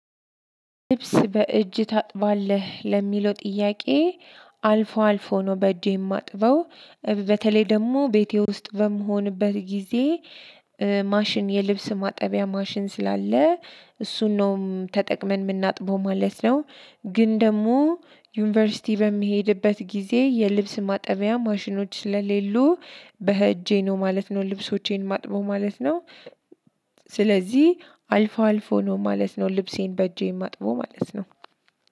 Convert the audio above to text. ልብስ በእጅ ታጥባለህ ለሚለው ጥያቄ አልፎ አልፎ ነው በእጄ የማጥበው። በተለይ ደግሞ ቤቴ ውስጥ በምሆንበት ጊዜ ማሽን የልብስ ማጠቢያ ማሽን ስላለ እሱን ነው ተጠቅመን የምናጥበው ማለት ነው። ግን ደግሞ ዩኒቨርሲቲ በምሄድበት ጊዜ የልብስ ማጠሚያ ማሽኖች ስለሌሉ በእጄ ነው ማለት ነው ልብሶቼን ማጥበው ማለት ነው። ስለዚህ አልፎ አልፎ ነው ማለት ነው ልብሴን በእጄ ማጥበው ማለት ነው።